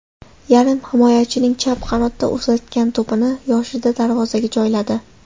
Yarim himoyachining chap qanotdan uzatgan to‘pini Yoshida darovzaga joyladi.